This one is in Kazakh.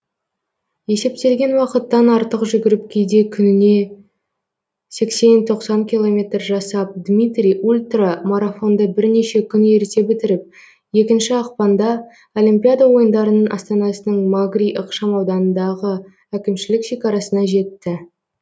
есептелген уақыттан артық жүгіріп кейде күніне сексен тоқсан километр жасап дмитрий ультрамарафонды бірнеше күн ерте бітіріп екінші ақпанда олимпиада ойындарының астанасының магри ықшам ауданыңдағы әкімшілік шекарасына жетті